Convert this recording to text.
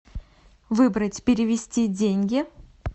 выбрать перевести деньги